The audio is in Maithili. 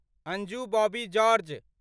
अंजू बॉबी जार्ज